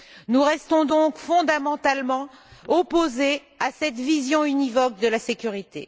Nous restons donc fondamentalement opposés à cette vision univoque de la sécurité.